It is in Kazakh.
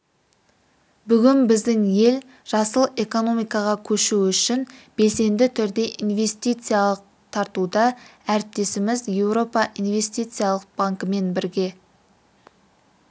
бүгін біздің ел жасыл экономикаға көшу үшін белсенді түрде инвестиция тартуда әріптесіміз еуропа инвестициялық банкімен бірге